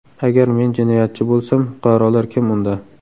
Agar men jinoyatchi bo‘lsam, fuqarolar kim unda?